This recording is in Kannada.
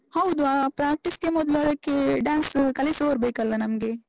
ಹೌದು, ಆ practice ಗೆ ಮೊದ್ಲು ಅದಕ್ಕೆ dance ಕಲಿಸುವವರು ಬೇಕಲ್ಲ ನಮ್ಗೆ?